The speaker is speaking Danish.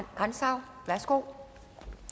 grantzau værsgo